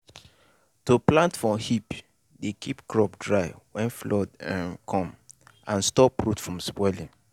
to plant for heap dey keep crop dry when flood um come and stop root from spoiling.